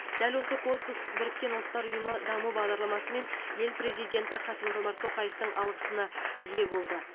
дәл осы корпус біріккен ұлттар ұйымы даму бағдарламасы мен ел президенті қасым жомарт тоқаевтың алғысына ие болды